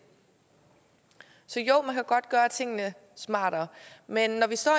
så jo man kan godt gøre tingene smartere men når vi står